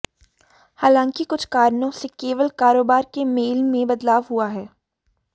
हालांकि कुछ कारणों से केवल कारोबार के मेल में बदलाव हुआ है